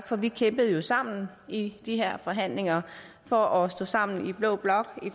for vi kæmpede sammen i de her forhandlinger og stod sammen i blå blok